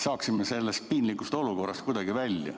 Saaksime sellest piinlikust olukorrast kuidagi välja.